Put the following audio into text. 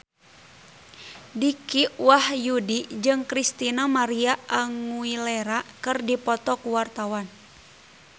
Dicky Wahyudi jeung Christina María Aguilera keur dipoto ku wartawan